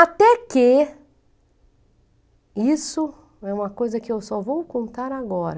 Até que... Isso é uma coisa que eu só vou contar agora.